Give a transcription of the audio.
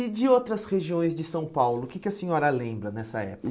E de outras regiões de São Paulo, o que que a senhora lembra nessa